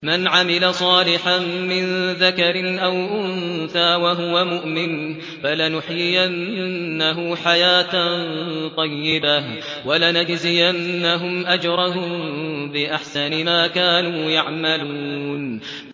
مَنْ عَمِلَ صَالِحًا مِّن ذَكَرٍ أَوْ أُنثَىٰ وَهُوَ مُؤْمِنٌ فَلَنُحْيِيَنَّهُ حَيَاةً طَيِّبَةً ۖ وَلَنَجْزِيَنَّهُمْ أَجْرَهُم بِأَحْسَنِ مَا كَانُوا يَعْمَلُونَ